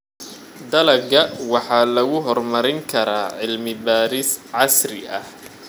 Dalagga waxa lagu horumarin karaa cilmi-baadhis casri ah.